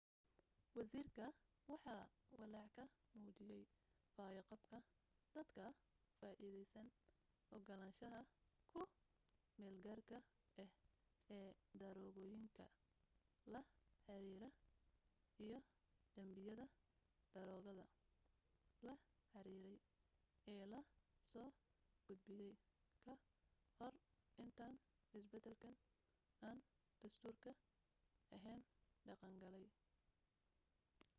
wasiirka waxa walaac ka muujiyay fayo-qabka dadka ka faa'iideysanaa ogolaanshaha ku meel-gaarka ah ee daroogooyinka la xiriira iyo danbiyada daroogada la xiriiray ee la soo gudbiyay ka hor intaan isbedelkan aan dastuuriga ahayn dhaqan galay